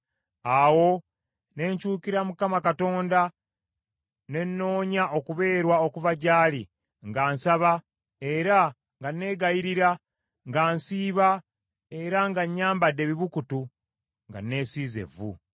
Awo ne nkyukira Mukama Katonda ne nnoonya okubeerwa okuva gyali nga nsaba era nga neegayirira, nga nsiiba era nga nyambadde ebibukutu nga neesiize evvu.